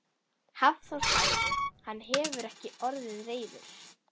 Hafþór: Hann hefur ekki orðið reiður?